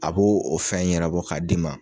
A b'o o fɛn ɲɛnɛbɔ k'a d'i ma